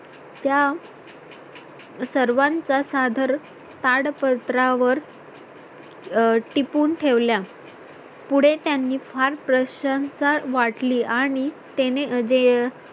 त्या सर्वांच सादर ताड पत्रावर अं टिपून ठेवल्या पुढे त्यांनी फार प्रशंसा वाटली आणि त्याने आणि जे